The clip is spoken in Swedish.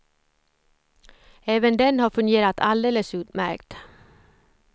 Även den har fungerat alldeles utmärkt.